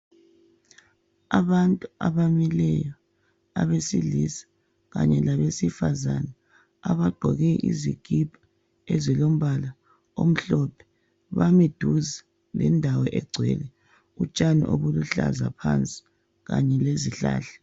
Abantu abamileyo abesilisa kanye labesifazana abaqoke izikipa ezilombala omhlophe bami duze lendawo egcwele utshani obuluhlaza phansi kanye lezihlahla.